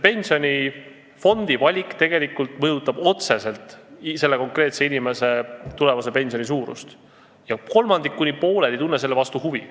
Pensionifondi valik mõjutab tegelikult otseselt inimese tulevase pensioni suurust, aga kolmandik kuni pool ei tunne selle vastu huvi.